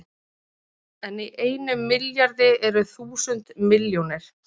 En í einum milljarði eru þúsund milljónir!